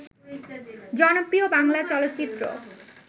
জনপ্রিয় বাংলা চলচ্চিত্র